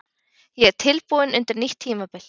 Ég er tilbúinn undir nýtt tímabil.